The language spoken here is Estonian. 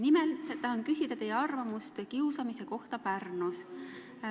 Nimelt, ma palun teie arvamust kiusamise kohta Pärnus.